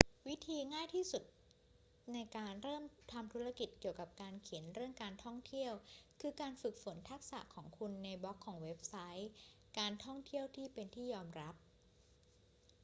วิธีที่ง่ายที่สุดในการเริ่มทำธุรกิจเกี่ยวกับการเขียนเรื่องการท่องเที่ยว คือการฝึกฝนทักษะของคุณในบล็อกของเว็บไซต์การท่องเที่ยวที่เป็นที่ยอมรับ